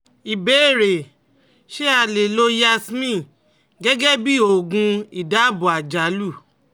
Ìbéèrè: Ṣé a lè lo Yasmin gẹ́gẹ́ bí oògùn ìdabò àjálù?